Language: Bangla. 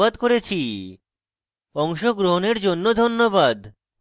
অংশগ্রহনের জন্য ধন্যবাদ